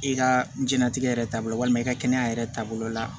I ka jɛnatigɛ yɛrɛ taabolo walima i ka kɛnɛya yɛrɛ taabolo la